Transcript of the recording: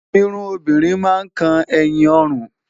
Irun obìnrin máa ń kan ẹ̀yìn ọrùn.